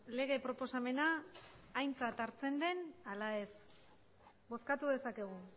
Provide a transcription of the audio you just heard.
lege proposamena aintzat hartzen den ala ez bozkatu dezakegu